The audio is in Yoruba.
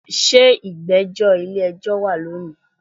se igbejo ile ejo wa loni?